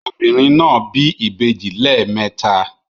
Obìnrin náà bí ìbejì lẹ́ẹ̀mẹta